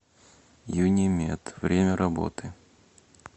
юнимед время работы